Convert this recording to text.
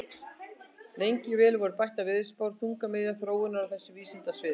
Lengi vel voru bættar veðurspár þungamiðja þróunar á þessu vísindasviði.